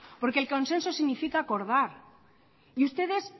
porque el consenso significa acordar y ustedes